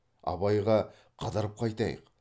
абайға қыдырып қайтайық